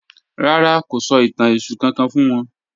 Rárá, kò sọ̀ itàn Èṣù kankan fún wọn